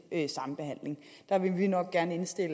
én sambehandling der vil vi nok gerne henstille